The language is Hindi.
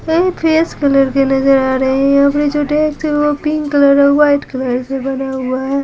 कहीं फ्रेश कलर के नजर आ रही है अपने जो डेक्स है वो पिंक कलर और वाइट कलर से बना हुआ है।